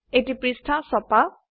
এটি পৃষ্ঠা ছপা